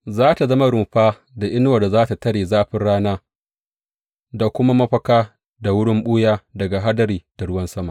Za tă zama rumfa da inuwar da za tă tare zafin rana, da kuma mafaka da wurin ɓuya daga hadari da ruwan sama.